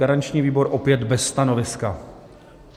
Garanční výbor: opět bez stanoviska.